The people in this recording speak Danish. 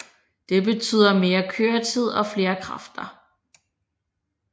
Det betyder mere køretid og flere kræfter